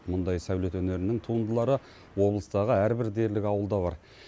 мұндай сәулет өнерінің туындылары облыстағы әрбір дерлік ауылда бар